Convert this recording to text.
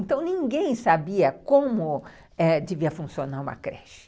Então ninguém sabia como, ãh, devia funcionar uma creche.